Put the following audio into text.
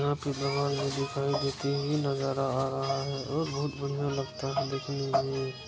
यहां पे दिखाई देती हुई नजर आ रहा है और बोहुत बढ़िया लगता है देखने में ।